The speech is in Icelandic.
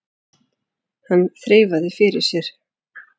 Hann þreifaði fyrir sér.